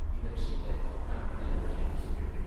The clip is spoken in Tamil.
இந்த விஷயத்த நான் எல்லார்கிட்டயும் சொல்லிடுறேன்.